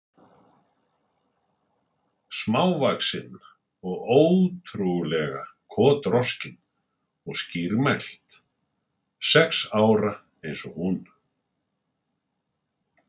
Smávaxin og ótrú- lega kotroskin og skýrmælt, sex ára eins og hún.